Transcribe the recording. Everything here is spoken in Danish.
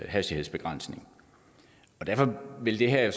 hastighedsbegrænsning og derfor ville det her